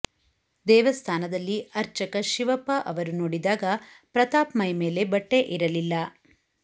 ದೇವಸ್ಥಾನದಲ್ಲಿ ಅರ್ಚಕ ಶಿವಪ್ಪ ಅವರು ನೋಡಿದಾಗ ಪ್ರತಾಪ್ ಮೈಮೇಲೆ ಬಟ್ಟೆ ಇರಲಿಲ್ಲ